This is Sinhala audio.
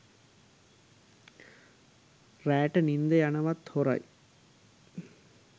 රෑට නින්ද යනවත් හොරයි.